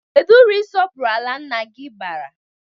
Kedụ uru isọpụrụ ala nna gị bara?